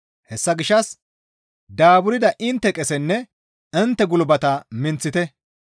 Hessa gishshas daaburda intte qesenne intte gulbate minththite.